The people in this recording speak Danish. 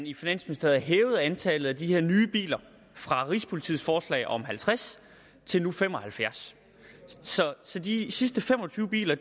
i finansministeriet hævede antallet af de her nye biler fra rigspolitiet forslag om halvtreds til nu fem og halvfjerds så de sidste fem og tyve biler